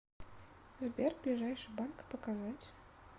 сбер ближайший банк показать